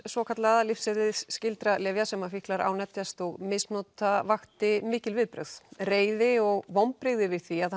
svokallaða lyfseðilsskyldra lyfja sem fíklar ánetjast og misnota vakti mikil viðbrögð reiði og vonbrigði yfir því að